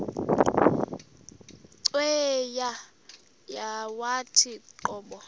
cweya yawathi qobo